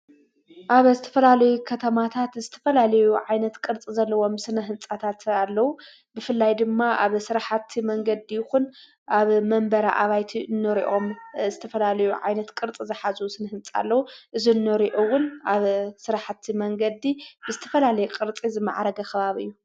ኣብ ዝተፈላልዩ ኸተማታት ዝትፈላልዩ ዓይነት ቅርጽ ዘለዎም ስነሕንጻታት ኣለዉ ብፍላይ ድማ ኣብ ሥራሓቲ መንገዲኹን ኣብ መንበረ ዓባይት እኖርእኦም እስተፈላልዩ ዓይነት ቅርጽ ዝሓዙ ስን ህንፃ ኣለዉ እኖሪኦውን ኣብ ሥራሕቲ መንገዲ ብዝትፈላልይ ቕርፂ ዝመዓረገ ኽባቢ እዩ።